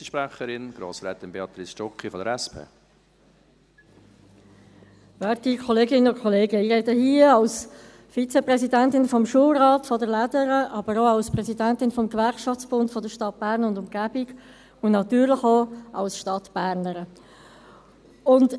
Ich spreche hier als Vizepräsidentin des Schulrats der «Lädere», aber auch als Präsidentin des Gewerkschaftsbunds der Stadt Bern und Umgebung und natürlich auch als Stadtbernerin.